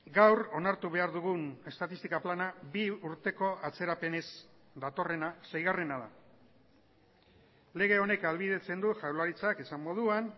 gaur onartu behar dugun estatistika plana bi urteko atzerapenez datorrena seigarrena da lege honek ahalbidetzen du jaurlaritzak esan moduan